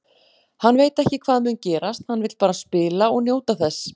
Hann veit ekki hvað mun gerast, hann vill bara spila og njóta þess.